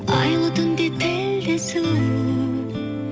айлы түнде тілдесу